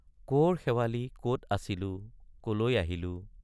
কৰ শেৱালি কত আছিলো কলৈ আহিলো।